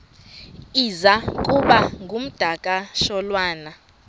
iza kuba ngumdakasholwana